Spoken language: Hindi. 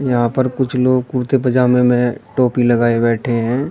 यहां पर कुछ लोग कुर्ते पजामे में हैं टोपी लगाए बैठे हैं।